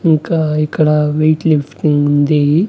ఇంకా ఇక్కడ weight lifting ఉంది.